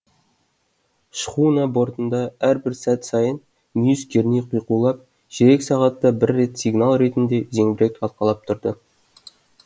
шхуна бортында әрбір сәт сайын мүйіз керней қиқулап ширек сағатта бір рет сигнал ретінде зеңбірек атылып тұрды